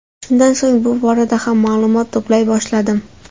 Shundan so‘ng bu borada ham ma’lumot to‘play boshladim.